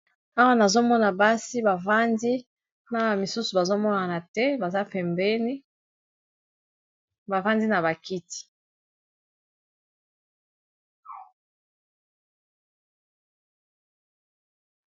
Awa nazomona basi bavandi, na ba misusu bazomonana te bazapembeni, bavandi na ba kiti.